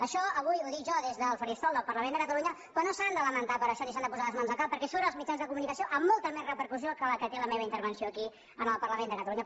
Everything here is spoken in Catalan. això avui ho dic jo des del faristol del parlament de catalunya però no s’han de lamentar per això ni s’han de posar les mans al cap perquè surt als mitjans de comunica·ció amb molta més repercussió que la que té la meva intervenció aquí en el parlament de catalunya